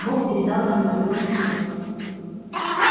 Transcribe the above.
бог передал ему другой кусок